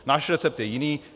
Náš recept je jiný.